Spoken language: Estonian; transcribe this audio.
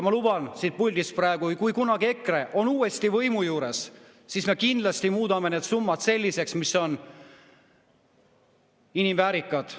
Ma luban siit puldist praegu, et kui kunagi EKRE on uuesti võimu juures, siis me kindlasti muudame need summad selliseks, mis on väärikad.